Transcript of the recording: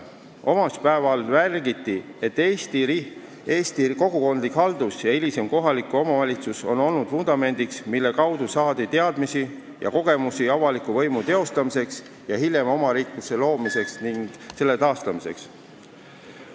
Omavalitsuspäeval märgiti, et Eesti kogukondlik haldus ja hilisem kohalik omavalitsus on olnud vundamendiks, mille kaudu on saadud teadmisi ja kogemusi avaliku võimu teostamiseks ning hiljem omariikluse loomiseks ja selle taastamiseks.